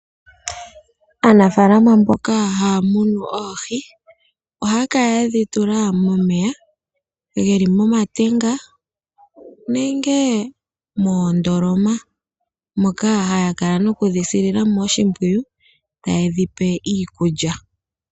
Aanafaalama mboka haya munu oohi ohaya kala yedhi tula momeya geli moma tenga nenge moondoloma, moka haya kala nokudhi silila mo oshimpwiyu taye dhi pe iikulya.